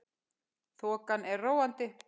Þokan er róandi